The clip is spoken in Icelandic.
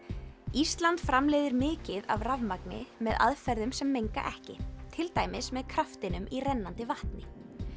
ísland framleiðir mikið af rafmagni með aðferðum sem menga ekki til dæmis með kraftinum í rennandi vatni